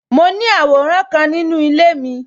Mo ní àwòrán kan nínú ilé mi